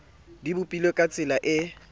di bopilwe ka tsela e